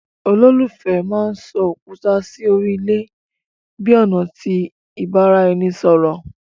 Ololufẹ mán sọ òkúta sí órí ilé bi ọna ti ibaraẹnisọrọ